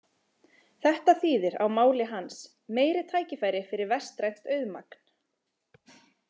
Þetta þýðir á máli hans: Meiri tækifæri fyrir vestrænt auðmagn.